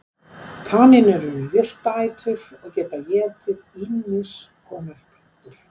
Kanínur eru jurtaætur og geta étið ýmiss konar plöntur.